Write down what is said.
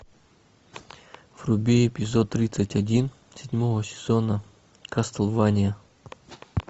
вруби эпизод тридцать один седьмого сезона кастлвания